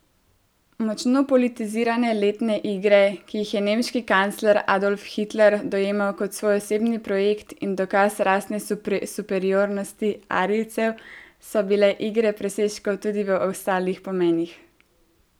Močno politizirane letne igre, ki jih je nemški kancler Adolf Hitler dojemal kot svoj osebni projekt in dokaz rasne superiornosti arijcev, so bile igre presežkov tudi v ostalih pomenih.